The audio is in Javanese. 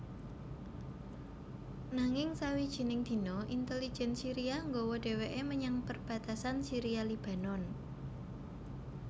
Nanging sawijining dina intelijen Syiria nggawa dheweke menyang perbatasan Syria Lebanon